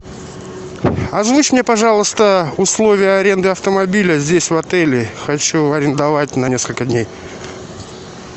озвучь мне пожалуйста условия аренды автомобиля здесь в отеле хочу арендовать на несколько дней